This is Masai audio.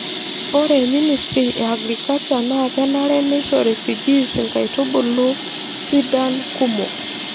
Ore ministry e agriculture naa kenare neisho refugees inkaitubulu sidain kumok.